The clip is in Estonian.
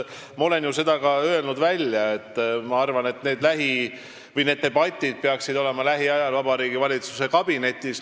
Ma olen välja öelnud, et minu arvates peaksid need debatid olema lähiajal Vabariigi Valitsuse kabinetis.